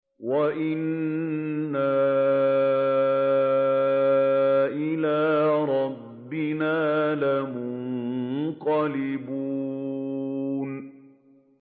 وَإِنَّا إِلَىٰ رَبِّنَا لَمُنقَلِبُونَ